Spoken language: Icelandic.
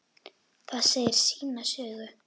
Það segir sína sögu.